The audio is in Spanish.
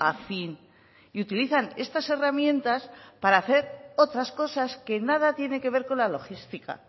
a fin y utilizan estas herramientas para hacer otras cosas que nada tiene que ver con la logística